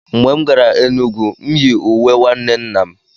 Mgbe m gara Enugwu, m yi uwe nwanne nna m.